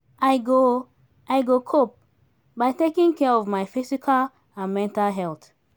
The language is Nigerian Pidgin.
i go i go cope by taking care of my physical and mental health.